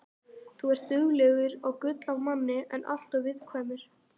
Þú ert duglegur og gull af manni en alltof viðkvæmur.